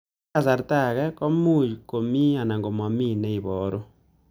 Eng' kasarta ag'e ko much ko mii anan komamii ne ibaru